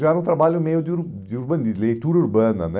Já era um trabalho meio de ur de urbanis leitura urbana, né?